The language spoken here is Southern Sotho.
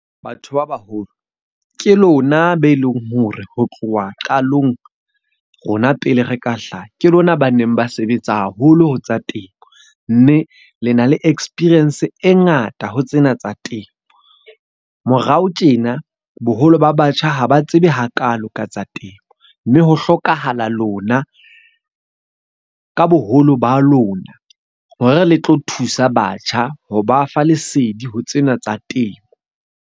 Batho ba baholo ke lona be leng hore ho tloha qalong rona pele re ka hlaha, ke lona ba neng ba sebetsa haholo ho tsa temo. Mme le na le experience e ngata ho tsena tsa temo. Morao tjena boholo ba batjha ha ba tsebe hakalo ka tsa temo, mme ho hlokahala lona ka boholo ba lona hore le tlo thusa batjha ho ba fa lesedi ho tsena tsa temo.